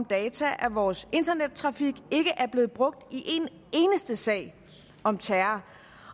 data om vores internettrafik ikke er blevet brugt i en eneste sag om terror